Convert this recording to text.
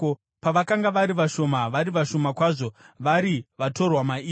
Pavakanga vari vashoma, vari vashoma kwazvo, vari vatorwa mairi,